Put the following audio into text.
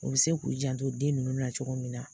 U bɛ se k'u janto den ninnu na cogo min na.